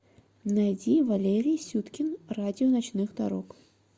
найди валерий сюткин радио ночных дорог